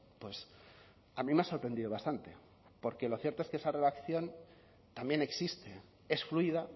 pues a mí me ha sorprendido bastante porque lo cierto es que esa relación también existe es fluida